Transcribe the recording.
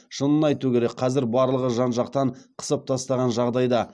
шынын айту керек қазір барлығы жан жақтан қысып тастаған жағдайда